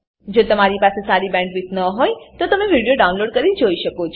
જો તમારી પાસે સારી બેન્ડવિડ્થ ન હોય તો તમે વિડીયો ડાઉનલોડ કરીને જોઈ શકો છો